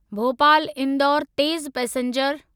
भोपाल इंदौर तेज़ पैसेंजर